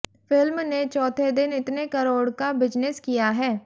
film ने चौथे दिन इतने करोड़ का बिजनेस किया है